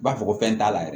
U b'a fɔ ko fɛn t'a la